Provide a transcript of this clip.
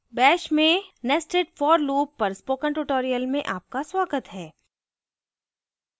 bash में nested for loop पर spoken tutorial में आपका स्वागत है